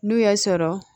N'u y'a sɔrɔ